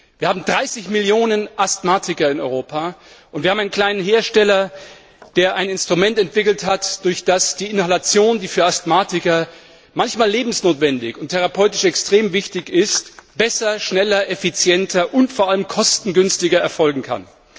Wir haben 30 Millionen Asthmatiker in Europa, und wir haben einen kleinen Hersteller, der ein Instrument entwickelt hat, durch das die Inhalation, die für Asthmatiker manchmal lebensnotwendig und therapeutisch extrem wichtig ist, besser, schneller, effizienter und vor allem kostengünstiger erfolgen kann.